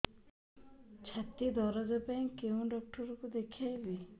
ଛାତି ଦରଜ ପାଇଁ କୋଉ ଡକ୍ଟର କୁ ଦେଖେଇବି